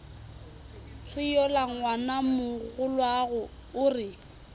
re yola ngwanamogolwago o re